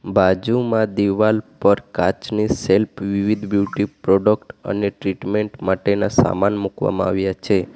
બાજુમાં દીવાલ પર કાચની સેલ્ફ વિવિધ બ્યુટી પ્રોડક્ટ અને ટ્રીટમેન્ટ માટેના સામાન મુકવામાં આવ્યા છે.